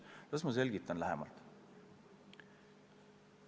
Las ma selgitan lähemalt.